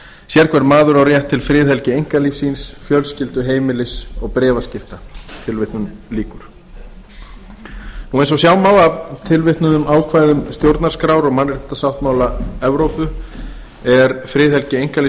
sérhver maður á rétt til friðhelgi einkalífs síns fjölskyldu heimilis og bréfaskipta tilvitnun lýkur eins og sjá má af tilvitnuðum ákvæðum stjórnarskrár og mannréttindasáttmála evrópu er friðhelgi einkalífs